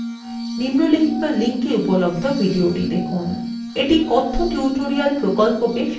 নিম্নলিখিত link এ উপলব্ধ video দেখুন এটি কথ্য tutorial প্রকল্পকে সারসংক্ষেপে বোঝায়